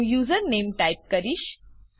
હું username type કરીશ